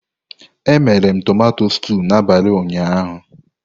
Emere m tumato stúu n'abalị ụnyaahụ.